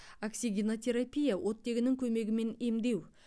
оксигенотерапия оттегінің көмегімен емдеу